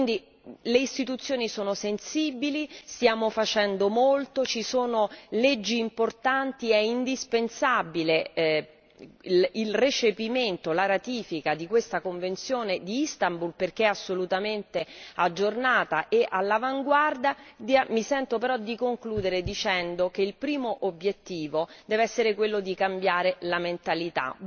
Quindi le istituzioni sono sensibili, stiamo facendo molto, ci sono leggi importanti, è indispensabile il recepimento, la ratifica di questa convenzione di Istanbul perché è assolutamente aggiornata e all'avanguardia, mi sento però di concludere dicendo che il primo obiettivo deve essere quello di cambiare la mentalità.